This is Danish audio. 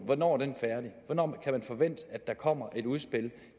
hvornår kan man forvente at der kommer et udspil